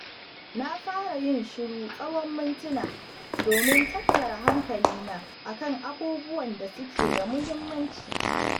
Na fara yin shiru tsawon mintuna domin tattara hankalina a kan abubuwan da suke da muhimmanci.